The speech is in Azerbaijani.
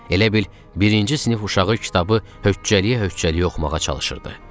Elə bil, birinci sinif uşağı kitabı höccəliyə-höccəliyə oxumağa çalışırdı.